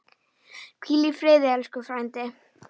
Hvíl í friði, elsku frændi.